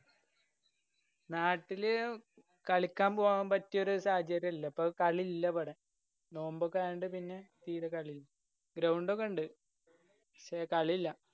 നാട്ടില് കളിക്കാന്‍ പോവാന്‍ പറ്റിയൊരു സാഹചര്യല്ലാ ഇപ്പോ കളി ഇല്ല ഇബടെ. നോമ്പൊക്കെ ആയോണ്ട് പിന്നെ തീരെ കളി. ground ഒക്കെണ്ട്. പക്ഷേ കളിയില്ലാ.